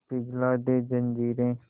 पिघला दे जंजीरें